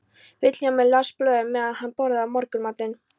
Vilhjálmur las blöðin meðan hann borðaði morgunmatinn.